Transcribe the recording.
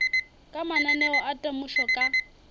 ka mananeo a temošo ka